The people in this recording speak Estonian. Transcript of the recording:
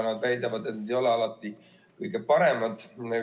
Nad väidavad, et need ei ole alati kõige paremad.